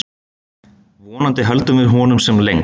Vonandi höldum við honum sem lengst.